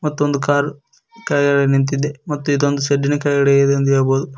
ಮತ್ತು ಒಂದ್ ಕಾರ್ ಕೆಳಗಡೆ ನಿಂತಿದೆ ಮತ್ತು ಇದೊಂದ ಶೇಡ್ದಿನ ಕೆಳಗಡೆ ಇದೆ ಎಂದು ಹೇಳ್ಬೋದು.